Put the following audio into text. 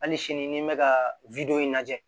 Hali sini n bɛ ka wideyo in lajɛ